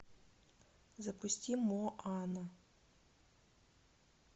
запусти моана